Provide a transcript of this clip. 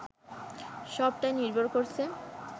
সবটাই নির্ভর করছে